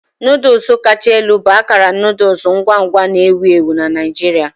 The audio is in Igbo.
Noodles kacha elu bụ akara noodle ngwa ngwa na-ewu ewu na Naijiria.